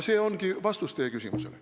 See ongi vastus teie küsimusele.